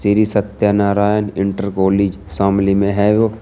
Shri Satyanarayan inter college Shamli में है वो।